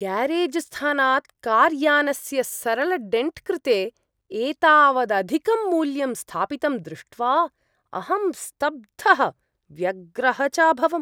ग्यारेज्स्थानात् कार्यानस्य सरलडेण्ट्कृते एतावदधिकं मूल्यं स्थापितं दृष्ट्वा अहं स्तब्धः व्यग्रः च अभवम्।